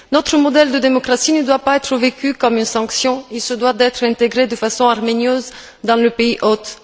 Notre modèle de démocratie ne doit pas être vécu comme une sanction et se doit d'être intégré de façon harmonieuse dans le pays hôte.